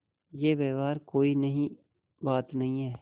यह व्यवहार कोई नई बात नहीं है